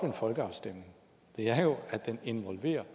en folkeafstemning er jo at den involverer